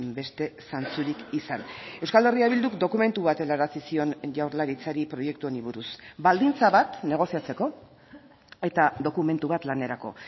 beste zantzurik izan euskal herria bilduk dokumentu bat helarazi zion jaurlaritzari proiektu honi buruz baldintza bat negoziatzeko eta dokumentu bat lanerako